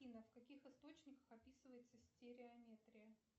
афина в каких источниках описывается стереометрия